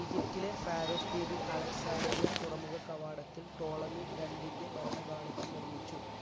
ഈജിപ്തിലെ ഫാറോസ് ദ്വീപിൽ അലക്സാട്രിയ തുറമുഖ കവാടത്തിൽ ട്രോള്മി രണ്ടിന്റെ ഭരണകാലത്ത് നിർമ്മിച്ചു.